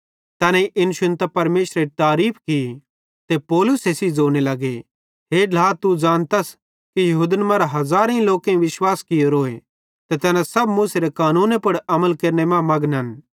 तैनेईं इन शुन्तां परमेशरेरी तारीफ़ की ते फिरी पौलुसे सेइं ज़ोने लगे हे ढ्ला तू ज़ानतस कि यहूदन मरां हज़ारेईं लोकेईं विश्वास कियोरोए ते तैना सब मूसेरे कानूने पुड़ अमल केरने मां मघनन्